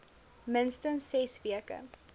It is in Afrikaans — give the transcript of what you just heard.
minstens ses weke